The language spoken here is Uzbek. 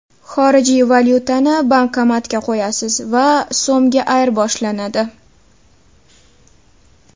Xorijiy valyutani bankomatga qo‘yasiz va … so‘mga ayirboshlanadi!.